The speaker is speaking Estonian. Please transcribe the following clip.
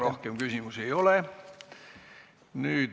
Rohkem küsimusi ei ole.